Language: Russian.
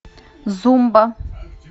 зумба